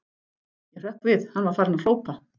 Ég hrökk við, hann var farinn að hrópa.